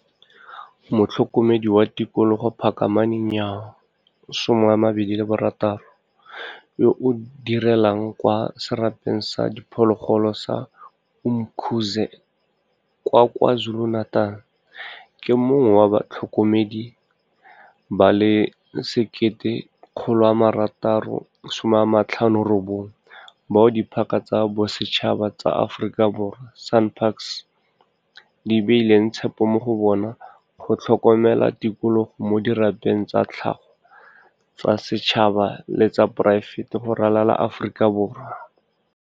Motlhokomedi wa Tikologo Phakamani Nyawo, 26, yo a direlang kwa Serapeng sa Diphologolo sa Umkhuze kwa KwaZulu-Natal, ke mongwe wa batlhokomedi ba le 1 659 bao Diphaka tsa Bosetšhaba tsa Aforika Borwa, SANParks, di beileng tshepo mo go bona go tlhokomela tikologo mo dirapeng tsa tlhago tsa setšhaba le tsa poraefete go ralala Aforika Borwa.